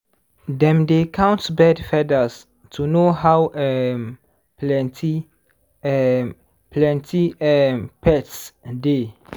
dem dey count bird feathers to know how um plenty um plenty um pests dey.